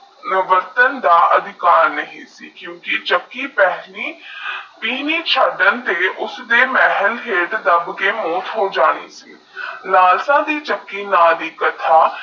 ਬਦਲਾਂ ਦਾ ਅਧਿਕਾਰ ਨਹੀ ਹੈ ਕਿਉ ਕਿ ਚੱਕੀ ਪਹਿਲੀ ਤਿਨੀ ਛਤਰਾਂ ਸੇ ਉਸਨੇ ਮਹਲ ਦਾਬ ਕੇ ਮੋਖ ਕੋ ਜਾਨੀ ਲਾਲਸ਼ਾ ਦੀ ਚੱਕੀ ਨਾ ਦੀ ਕਥਾ